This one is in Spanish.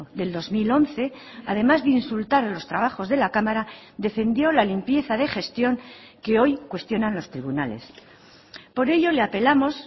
del dos mil once además de insultar a los trabajos de la cámara defendió la limpieza de gestión que hoy cuestionan los tribunales por ello le apelamos